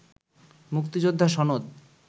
মুক্তিযোদ্ধা সনদ